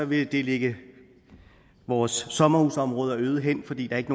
vil lægge vores sommerhusområder øde hen fordi der ikke